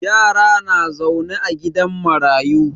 Yara na zaune a gidan marayu.